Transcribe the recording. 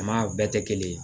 A ma bɛɛ tɛ kelen ye